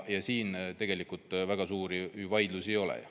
Siin tegelikult väga suuri vaidlusi ei ole.